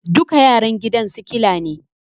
Duka yaran gidan sikila ne